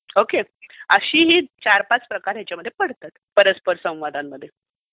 Okay? असे हे चार पाच प्रकार याच्यामध्ये पडतात परस्पर संवादांमध्ये.